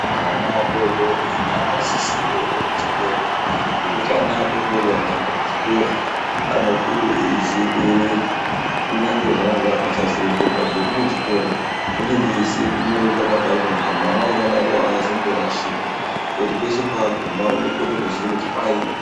Ana adodori vakasisa kuenda kuchikora ngekuti ana adodori akaenda kuchikora anokure eiziva kuerenga kunyange zvazvo akasazoenderera mberi nechikora unenge eziva kuerenga pakanyorwa mwana akadaro azomborashiki peshe paaguma unoziya kuti paiini